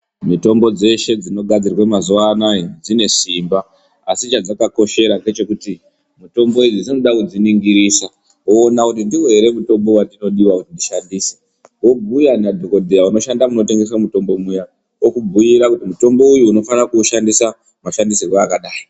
Mitombo dzeshe dzinogadzirwa mazuwanaya dzine simba asi chadzakakoshera ndechekuti mitombo idzi dzinoda kudziningirisa, woona kuti ndiwo here mutombo wandinodiwa kuti ndishandise? Wobhuya nadhokodheya unoshanda munotengeswa mutombo uya, okubhuyira kuti mutombo uyu unofana kuushandisa mashandisirwe akadayi.